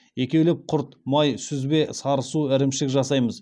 екеулеп құрт май сүзбе сарысу ірімшік жасаймыз